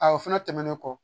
O fɛnɛ tɛmɛnen kɔ